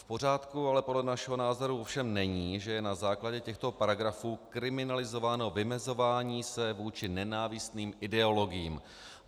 V pořádku ale podle našeho názoru ovšem není, že je na základě těchto paragrafů kriminalizováno vymezování se vůči nenávistným ideologiím.